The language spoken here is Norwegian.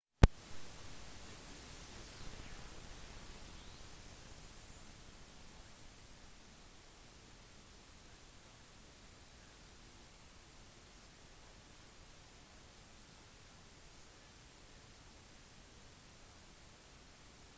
det finnes også et par busser som drar mot nord til byen hebron til det tradisjonelle gravstedet der de bibelske patriarkene abraham isak jakob samt deres koner ligger begravet